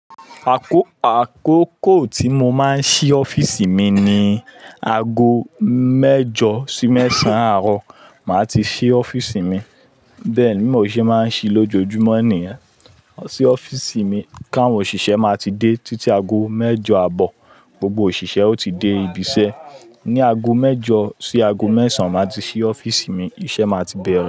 Àkókò tí mo máa ń ṣí ọ́fíìsì mi ni ago mẹ́jọ sí mẹ́sàn àárọ̀, màá ti ṣí ọ́fíìsì mi. Bẹ́ẹ̀ bi mo ṣe máa ń ṣí lójoojúmọ́ nìyẹn. Tí ọ́fíìsì mi, káwọn òṣìṣẹ́ máa ti dé títí ago mẹ́jọ àbọ̀ gbogbo òṣìṣẹ́ ó ti dé ibiṣẹ́. Ni ago mẹ́jọ sí ago mẹ́sàn máa ti ṣí ọ́fíìsì mi, iṣẹ́ máa ti bẹ̀rẹ̀